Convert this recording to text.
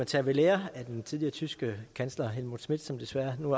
tage ved lære af den tidligere tyske kansler helmut schmidt som desværre nu